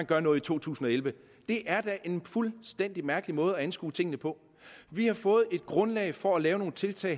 gør noget i to tusind og elleve det er da en fuldstændig mærkelig måde at anskue tingene på vi har fået et grundlag for at lave nogle tiltag